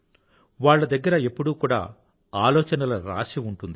వాళ్ల దగ్గర ఎప్పుడూ కూడా ఆలోచనల రాశి ఉంటుంది